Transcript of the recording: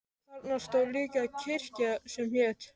Þarna stóð líka kirkja sem hét